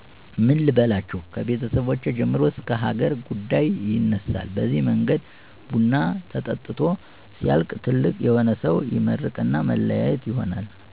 ምን ልበላችሁ ከቤተሰብ ጀምሮ እስከ ሀገር ጉዳይ ይነሳል በዚህ መንገድ ቡናው ተጠጥቶ ሲያልቅ ትልቅ የሆነ ሰው ይመርቅና መለያየት ይሆናል።